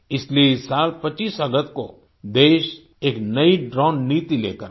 इसीलिए इस साल 25 अगस्त को देश एक नई ड्रोन नीति लेकर आया